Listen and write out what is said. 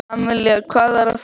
Amalía, hvað er að frétta?